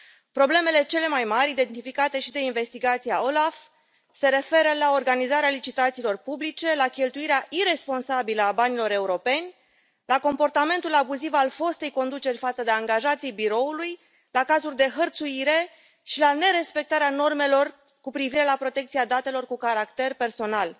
Problemele cele mai mari, identificate și de investigația OLAF, se referă la organizarea licitațiilor publice, la cheltuirea iresponsabilă a banilor europeni, la comportamentul abuziv al fostei conduceri față de angajații Biroului, la cazuri de hărțuire și la nerespectarea normelor cu privire la protecția datelor cu caracter personal.